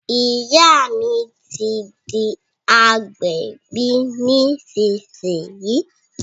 Ìyá mi ti di agbẹ̀bí nísìsiyìí